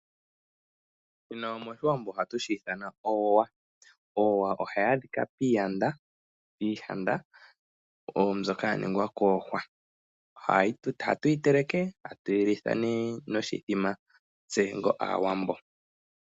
Shino moshiwanbo ohatu shi ithana oweya. Oweya ohayaadhika piiyanda mbyoka ya ningwa kuuhwa. Ohatu yi teleke eta tuyi litha nee noshimbombo tse onga aawambo.